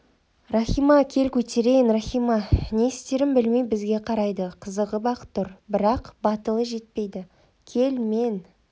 рахима кел көтерейін рахима не істерін білмей бізге қарайды қызығып-ақ тұр бірақ батылы жетпейді кел мен